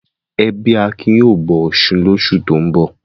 Ẹbí Akin yóò bọ Ọ̀ṣun lóṣù tó ń bọ̀.